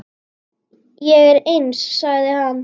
Ég er eins, sagði hann.